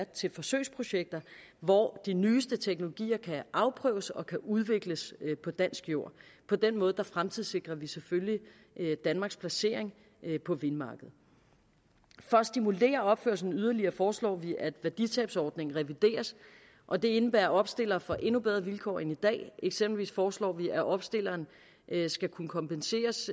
til forsøgsprojekter hvor de nyeste teknologier kan afprøves og kan udvikles på dansk jord på den måde fremtidssikrer vi selvfølgelig danmarks placering på vindmarkedet for at stimulere opførelsen yderligere foreslår vi at værditabsordningen revideres og det indebærer at opstillere får endnu bedre vilkår end i dag eksempelvis foreslår vi at opstilleren skal kunne kompenseres